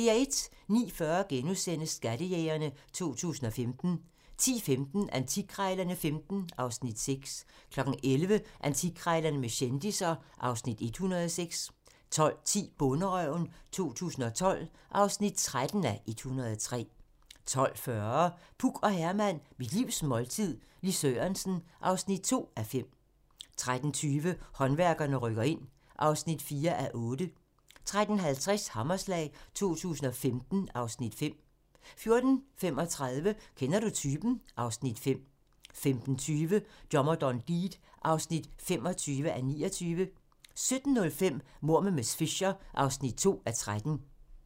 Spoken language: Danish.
09:40: Skattejægerne 2015 * 10:15: Antikkrejlerne XV (Afs. 6) 11:00: Antikkrejlerne med kendisser (Afs. 106) 12:10: Bonderøven 2012 (13:103) 12:40: Puk og Herman - mit livs måltid - Lis Sørensen (2:5) 13:20: Håndværkerne rykker ind (4:8) 13:50: Hammerslag 2015 (Afs. 5) 14:35: Kender du typen? (Afs. 5) 15:20: Dommer John Deed (25:29) 17:05: Mord med miss Fisher (2:13)